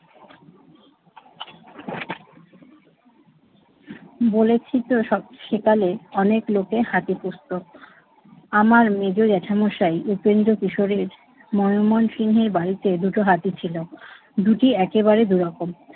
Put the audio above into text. বলেছি তো সব সেকালে অনেক লোকে হাতি পুষত। আমার মেঝো, জ্যাঠামশাই উপেন্দ্র কিশোরের মনমোহন সিংহের বাড়িতে দুটো হাতে ছিল। দুটি একবারে দুই রকম।